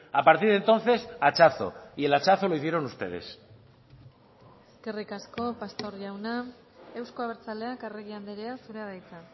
a partir de entonces hachazo y el hachazo lo hicieron ustedes eskerrik asko pastor jauna euzko abertzaleak arregi andrea zurea da hitza